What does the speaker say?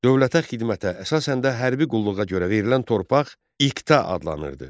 Dövlətə xidmətə, əsasən də hərbi qulluğa görə verilən torpaq iqta adlanırdı.